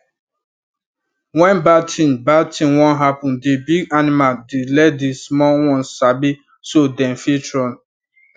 when bad thing bad thing one happen the big animal dey let the small ones sabi so them fit run